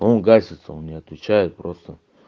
он гасится он не отвечает просто